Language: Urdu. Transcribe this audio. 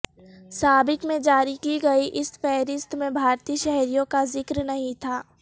سابق میں جاری کی گئی اس فہرست میں بھارتی شہریوں کا ذکر نہیں تھا